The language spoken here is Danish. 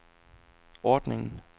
ordningen